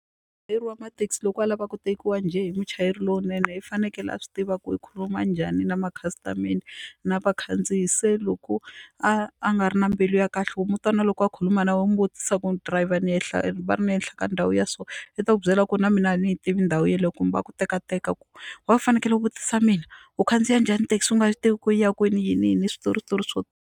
Muchayeri wa mathekisi loko a lava ku tekiwa njhe hi muchayeri lowunene i fanekele a swi tiva ku i khuluma njhani na makhasitamende na vakhandziyi se loko a a nga ri na mbilu ya kahle u mu twa na loko a khuluma na wena u n'wi vutisa ku ri dirayivha ni ehla va ri ni ehenhla ka ndhawu ya so i ta ku byela ku ri na mina a ni yi tivi ndhawu yeleyo kumbe a ku tekateka ku why u fanekele u vutisa mina u khandziya njhani thekisi u nga swi tivi ku yi ya kwini yini yini switori switori swo.